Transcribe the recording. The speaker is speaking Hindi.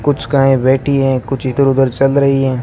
कुछ गायें बैठी हैं कुछ इधर उधर चल रहीं हैं।